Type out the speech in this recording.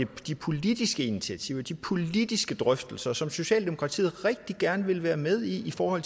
de politiske initiativer og de politiske drøftelser som socialdemokratiet rigtig gerne vil være med i for